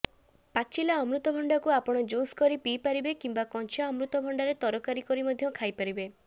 ପାଚିଲା ଅମୃତଭଣ୍ଡାକୁ ଆପଣ ଜୁସ୍ କରି ପିଇପାରିବେ କିମ୍ୱା କଞ୍ଚା ଅମୃତଭଣ୍ଡାରେ ତରକାରୀ କରି ମଧ୍ୟ ଖାଇପାରିବେ